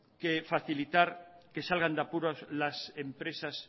facilitar que salgan de apuros las empresas